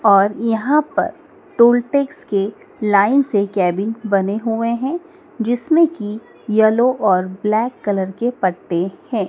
और यहां पर टोल टैक्स के लाइन से केबिन बने हुए हैं जिसमें की येलो और ब्लैक कलर के पट्टे है।